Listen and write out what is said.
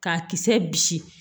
K'a kisɛ bisi